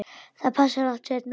Það passar betur seinna.